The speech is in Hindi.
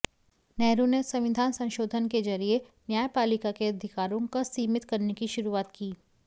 नेहरू ने संविधान संशोधन के जरिये न्यायपालिका के अधिकारों क सीमित करने की शुरूआत की